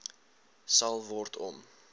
sal word om